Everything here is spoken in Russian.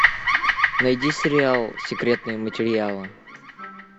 найди сериал секретные материалы